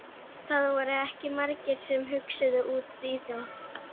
Það voru ekki margir sem hugsuðu út í það.